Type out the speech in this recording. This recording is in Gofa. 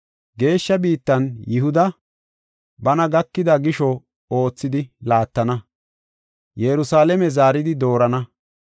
Geeshsha biittan Yihuda, bana gakida gisho oothidi laattana; Yerusalaame zaaridi doorana.